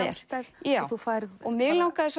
sjálfstæð mig langaði